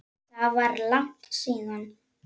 Það var langt síðan.